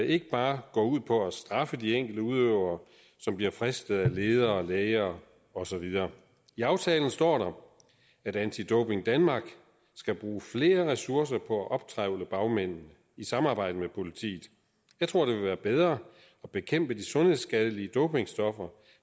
ikke bare går ud på at straffe de enkelte udøvere som bliver fristet af ledere læger og så videre i aftalen står der at anti doping danmark skal bruge flere ressourcer på at optrævle bagmændene i samarbejde med politiet jeg tror det vil være bedre at bekæmpe de sundhedsskadelige dopingstoffer